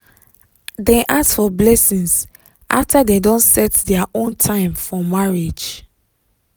dem ask for blessings after dem don set their own time for marriage.